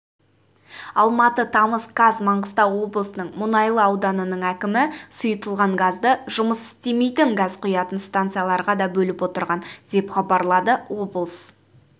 алматы тамыз қаз маңғыстау облысының мұнайлы ауданының әкімі сұйытылған газды жұмыс істемейтін газ құятын станцияларға да бөліп отырған деп хабарлады облыс